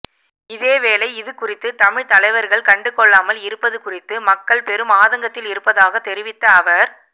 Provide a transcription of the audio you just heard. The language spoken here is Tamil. இதேவேளை இது குறித்து தமிழ் தலைவர்கள் கண்டு கொள்ளாமல் இருப்பது குறித்து மக்கள் பெரும் ஆதங்கத்தில் இருப்பதாக தெரிவித்த அவர்